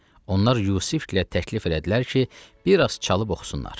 Onlar Yusifgilə təklif elədilər ki, bir az çalıb oxusunlar.